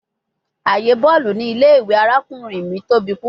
Aaye bọọlu ni ile-iwe arakunrin mi tobi pupọ